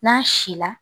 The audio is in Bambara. N'a si la